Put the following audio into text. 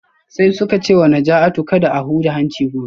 Sai suka ce wa Najatu kada a huda hanci gobe